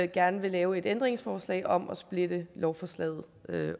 gerne vil lave et ændringsforslag om at splitte lovforslaget